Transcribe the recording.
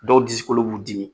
Dɔw disikolo b'u dimi.